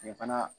Kile fana